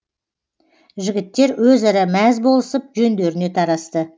жігіттер өзара мәз болысып жөндеріне тарасты